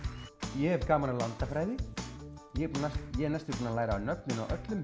ég hef gaman að landafræði ég er ég er næstum búin að læra nöfnin á öllum